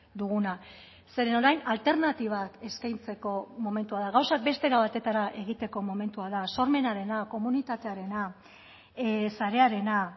duguna zeren orain alternatibak eskaintzeko momentua da gauzak beste era batetara egiteko momentua da sormenarena komunitatearena sarearena